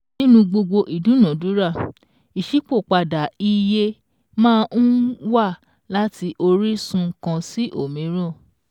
Nínú gbogbo ìdúnadúrà, ìṣípòpadà iye máa ń wà láti orísun kan sí òmíràn